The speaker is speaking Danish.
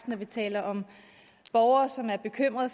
når vi taler om borgere som er bekymrede